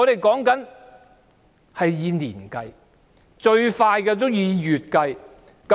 全是要以年計的，最快也要以月計。